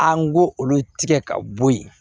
An go olu tigɛ ka bɔ yen